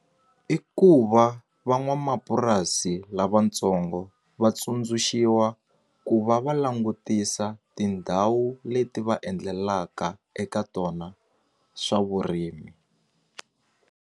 I ku va van'wamapurasi lavatsongo va tsundzuxiwa ku va va langutisa tindhawu leti va endlelaka eka tona swa vurimi.